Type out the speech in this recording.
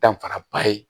Danfaraba ye